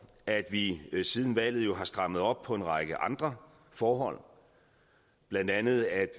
at vi siden valget har strammet op på en række andre forhold blandt andet at